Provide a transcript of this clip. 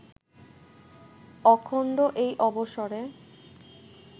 অখণ্ড এই অবসরে